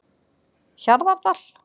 Hjarðardal